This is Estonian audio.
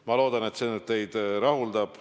Ma loodan, et see teid rahuldab.